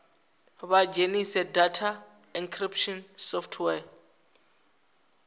vha dzhenise data encryption software